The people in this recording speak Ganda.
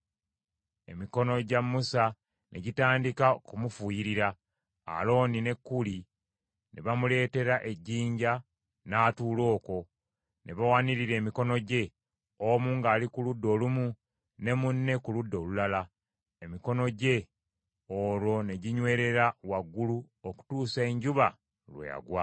Emikono gya Musa ne gitandika okumufuuyirira. Alooni ne Kuli ne bamuleetera ejjinja, n’atuula okwo; ne bawanirira emikono gye, omu ng’ali ku ludda olumu, ne munne ku ludda olulala, emikono gye olwo ne ginywerera waggulu okutuusa enjuba lwe yagwa.